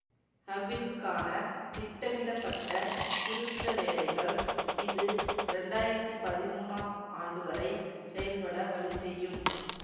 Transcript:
ஹபிளுக்கான திட்டமிடப்பட்ட திருத்தவேலைகள் இது இரண்டாயிரத்தி பதிமூனாம் ஆண்டுவரை செயல்பட வழி செய்யும்